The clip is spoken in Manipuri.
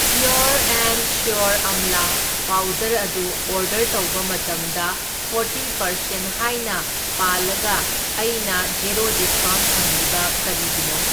ꯄ꯭ꯌꯣꯔ ꯑꯦꯟꯗ ꯁ꯭ꯌꯣꯔ ꯑꯝꯂꯥ ꯄꯥꯎꯗꯔ ꯑꯗꯨ ꯑꯣꯔꯗꯔ ꯇꯧꯕ ꯃꯇꯝꯗ ꯐꯣꯔꯇꯤ ꯄꯥꯔꯁꯦꯟ ꯍꯥꯏꯅ ꯄꯥꯜꯂꯒ ꯑꯩꯅ ꯖꯦꯔꯣ ꯗꯤꯁꯀꯥꯎꯟꯠ ꯐꯪꯂꯤꯕ ꯀꯥꯔꯤꯒꯤꯅꯣ?